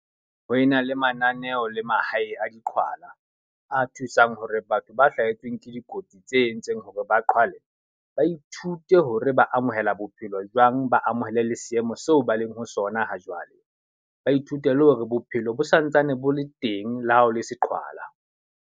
Ho ena le mananeo le mahae a diqhwala. A thusang hore batho ba hlahetsweng ke dikotsi tse entseng hore ba qhwale, ba ithute hore ba amohela bophelo jwang, ba amohele le seemo seo ba leng ho sona ha jwale. Ba ithute le hore bophelo bo santsane bo le teng le ha o le se qhwala.